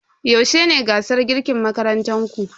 Yaushe ne gasar girkin makarantar ku?